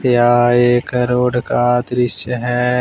यह एक रोड का दृश्य है।